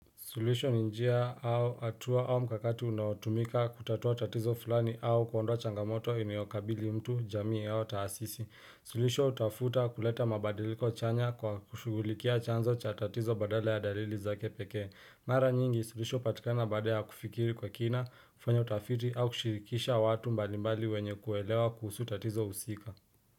Suluhisho ni njia au atua au mkakato unaotumika kutatua tatizo fulani au kuondoa changamoto inayokabili mtu jamii yao taasisi. Suluhisho utafuta kuleta mabadiliko chanya kwa kushugulikia chanzo cha tatizo badala ya dalili za kepeke. Mara nyingi, sulisho hupatikana baada ya kufikiri kwa kina, kufanya utafiti au kushirikisha watu mbalimbali wenye kuelewa kuhusu tatizo usika.